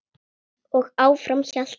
Og áfram hélt hann.